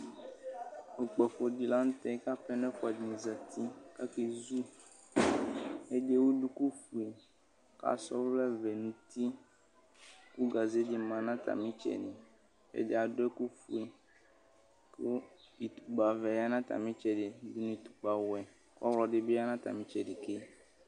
Ikpɔkʋ di lanʋtɛ kʋ apɛnɔ ɛfʋadini zati kʋ akɛzu ɛdi ewʋ dukufue kʋ asa ɔvlɛvɛ nʋ uti kʋ gaze di manʋ atami itsɛdi ɛdi adʋ ɛkʋfue kʋ itukpavɛ yanu atami itsɛdi dʋnʋ utukpawɛ kʋ ɔwlɔ dibi yanʋ atami itsɛdi ke